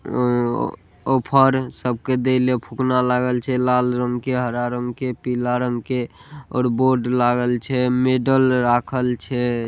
उ-उ-उ ओ फ़ौरन सबके देले फुकना लागल छे लाल रंग के हरा रंग के पिला रंग के और बोर्ड लागल छे मेडल राखल छे।